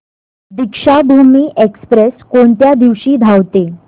Deekshabhoomi express कोणत्या दिवशी धावते